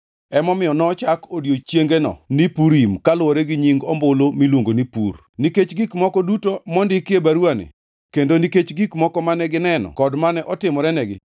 (Emomiyo nochak odiechiengego ni Purim kaluwore gi nying ombulu miluongo ni pur.) Nikech gik moko duto mondiki e baruwani kendo nikech gik moko mane gineno kod mane otimorenegi,